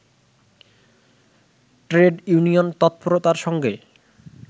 trade union তৎপরতার সঙ্গে